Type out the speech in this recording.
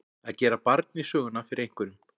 Að gera barn í söguna fyrir einhverjum